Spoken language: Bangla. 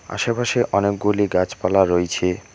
আশেপাশে অনেকগুলি গাছপালা রইছে।